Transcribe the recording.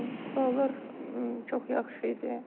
Suallar çox yaxşı idi.